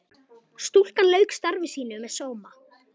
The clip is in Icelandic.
Stúlkan lauk starfi sínu með sóma.